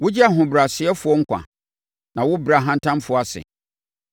Wogye ahobrɛasefoɔ nkwa, na wobrɛ ahantanfoɔ ase.